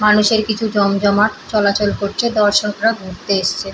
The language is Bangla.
মানুষের কিছু জমজমাট চলাচল করছে দর্শকরা ঘুরতে এসছে।